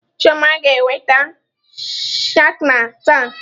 Chioma ga-eweta skana taa.